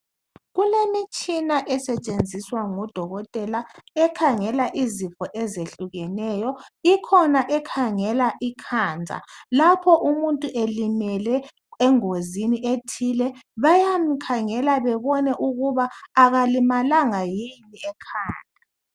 Kulemitshina esetshenziswa ngodokotela ekhangela izifo ezehlukeneyo. Ikhona ekhangela ikhanda, lapho umuntu elimele engozini ethile bayamkhangela bebone ukuba akalimalanga yini ekhanda.